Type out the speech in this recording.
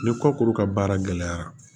Ni kɔkuru ka baara gɛlɛyara